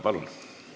Palun!